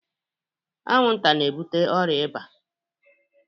Anwụnta na-ebute ọrịa iba